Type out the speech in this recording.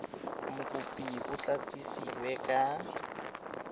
mokopi o tla itsisiwe ka